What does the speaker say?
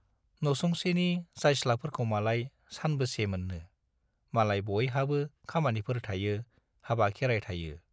नसुंसेनि जायस्लाफोरखौमालाय सानबेसे मोन्नो, मालाय बयहाबो खामानिफोर थायो, हाबा-खेराय थायो।